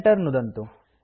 enter नुदन्तु